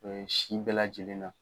si bɛɛ lajɛlen na.